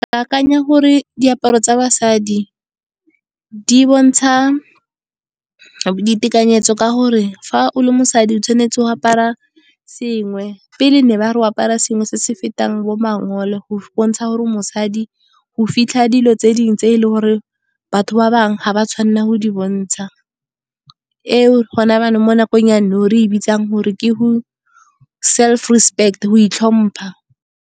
Ke akanya gore diaparo tsa basadi, di bontsha ditekanyetso ka gore fa o le mosadi o tshwanetse go apara sengwe. Pele ne ba re o apare sengwe se se fetang bo mangole, go bontsha gore mosadi. Go fitlha dilo tse dingwe tse e leng gore batho ba bangwe, ga ba tshwanela go di bontsha. E o gona jaanong, mo nakong ya nou re e bitsang gore ke go self respect go itlhompha.